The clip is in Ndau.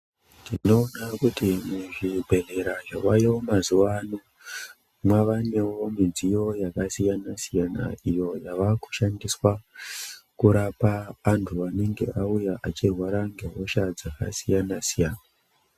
Tino...ra kuti muzvibhedhlera zvaayo mazuwaano, mwavanewo midziyo yakasiyana-siyana iyo inoshandiswa ,kurapa antu anenge auya achirwara ngehosha dzakasiyana-siyana.